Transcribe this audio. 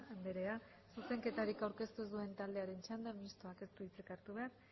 andrea zuzenketarik aurkeztu ez duen taldearen txanda mistoak ez du hitzik hartu behar